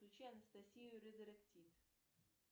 включи анастасию резеректит